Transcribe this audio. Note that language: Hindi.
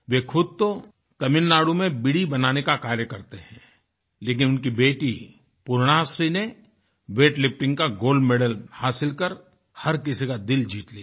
वह खुद तो तमिलनाडु में बीड़ी बनाने का कार्य करते है लेकिन उनकी बेटी पुर्णाश्री ने वेट लिफ्टिंग का गोल्ड मेडल हासिल कर हर किसी का दिल जीत लिया